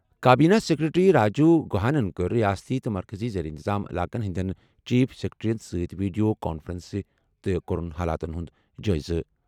کابینی secretary Rajiv گُہاہن کٔر ریاستن تہٕ مرکٔزی زیر انتظام علاقن ہٕنٛدٮ۪ن چیف سکریٹریَن سۭتۍ ویڈیو کانفرنسہٕ تہٕ کوٚرُن حالاتُک جٲیزٕ۔